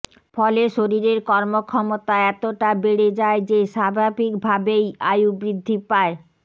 ফলে শরীরের কর্মক্ষমতা এতটা বেড়ে যায় যে স্বাভাবিকভাবেই আয়ু বৃদ্ধি পায়